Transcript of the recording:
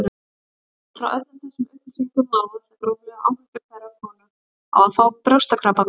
Út frá öllum þessum upplýsingum má áætla gróflega áhættu hverrar konu á að fá brjóstakrabbamein.